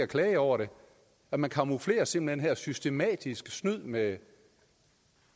klage over det man camouflerer simpelt hen systematisk snyd med